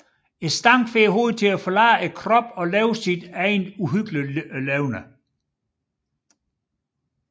Stanken får hovedet til at forlade kroppen og leve sit eget uhyggelige liv